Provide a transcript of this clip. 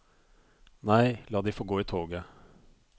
Nei, la de få gå i toget.